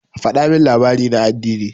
Faɗa min labari na addini.